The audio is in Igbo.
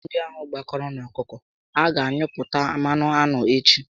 Aṅụ ndị ahụ gbakọrọ n'okooko a gá anyụpụta mmanụ aṅụ echi